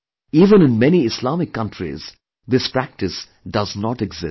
Even in many Islamic countries this practice does not exist